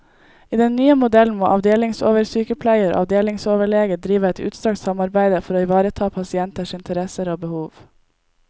I den nye modellen må avdelingsoversykepleier og avdelingsoverlege drive et utstrakt samarbeide for å ivareta pasienters interesser og behov.